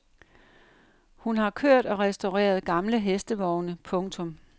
Hun har kørt og restaureret gamle hestevogne. punktum